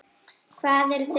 Hvað eru þeir að huga?